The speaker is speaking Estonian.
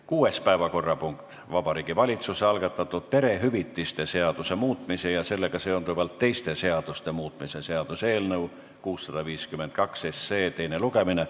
Kuues päevakorrapunkt on Vabariigi Valitsuse algatatud perehüvitiste seaduse muutmise ja sellega seonduvalt teiste seaduste muutmise seaduse eelnõu 652 teine lugemine.